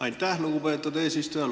Aitäh, lugupeetud eesistuja!